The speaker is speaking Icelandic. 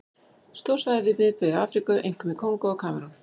Stór svæði við miðbaug í Afríku, einkum í Kongó og Kamerún.